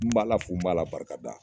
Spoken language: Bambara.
N b'Ala fo , n b'a la barikada!